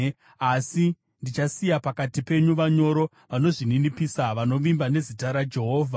Asi ndichasiya pakati penyu vanyoro vanozvininipisa, vanovimba nezita raJehovha.